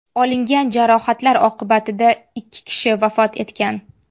Olingan jarohatlar oqibatida ikki kishi vafot etgan.